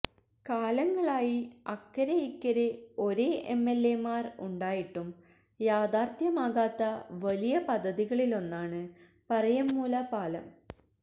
കാലങ്ങളായി അക്കരെ ഇക്കരെ ഒരേ എംഎല്എമാര് ഉണ്ടായിട്ടും യാഥാര്ഥ്യമാകാത്ത വലിയ പദ്ധതികളിലൊന്നാണ് പറയമ്മൂല പാലം